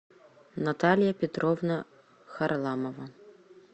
наталья петровна харламова